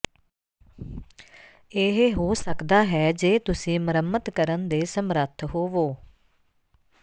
ਇਹ ਹੋ ਸਕਦਾ ਹੈ ਜੇ ਤੁਸੀਂ ਮੁਰੰਮਤ ਕਰਨ ਦੇ ਸਮਰੱਥ ਹੋਵੋ